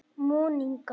Monika